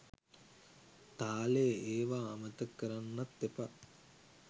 තාලේ ඒවා අමතක කරන්නත් එපා.